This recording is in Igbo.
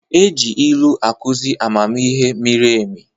E ji ilu akụzi amamihe miri emi.